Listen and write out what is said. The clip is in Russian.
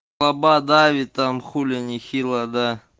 лабо давит там хуле нехило да